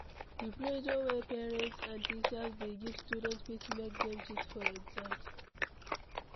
The pressure wey parents and teachers dey give student fit make dem cheat for exam